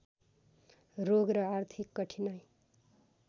रोग र आर्थिक कठिनाइ